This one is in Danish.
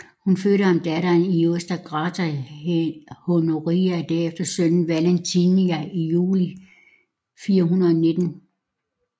Hun fødte ham datteren Iusta Grata Honoria og derefter sønnen Valentinian i juli 419